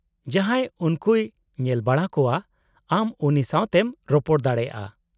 -ᱡᱟᱦᱟᱸᱭ ᱩᱱᱠᱩᱭ ᱧᱮᱞᱵᱟᱲᱟ ᱠᱚᱣᱟ ᱟᱢ ᱩᱱᱤ ᱥᱟᱶᱛᱮᱢ ᱨᱚᱯᱚᱲ ᱫᱟᱲᱮᱭᱟᱜᱼᱟ ᱾